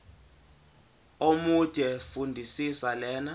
omude fundisisa le